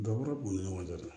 Dakɔrɔ b'u ni ɲɔgɔn cɛ dɛ